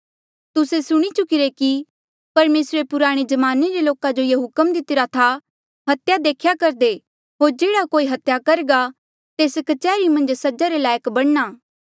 तुस्से सुणी चुकिरे कि परमेसरे पुराणे ज्माने रे लोका जो ये हुक्म दितिरा था हत्या देख्या करदे होर जेह्ड़ा कोई हत्या करघा तेस कच्हरी मन्झ सजा रे लायक बणना